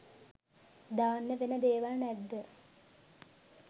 දාන්න වෙන දේවල් නැද්ද?